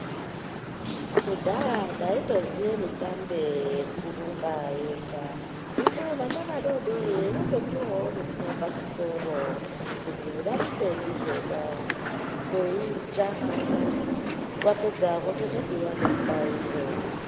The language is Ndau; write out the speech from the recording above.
Kudhaya taingoziva mitambe yekurumba yega hino vana vadodori votopuwawo nezvimabhasikoro kuti varumbe ndizvona veijaha vapedza vanenge vane mubairo.